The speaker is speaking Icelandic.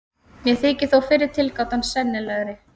Mér þykir þó fyrri tilgátan sennilegri.